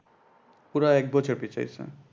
পুরা এক বছর পিছাইছে।